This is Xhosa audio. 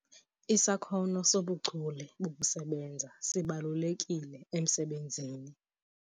Isakhono sobuchule bokusebenza sibalulekile emsebenzini.